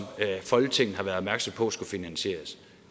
folketinget har været opmærksom på skulle finansieres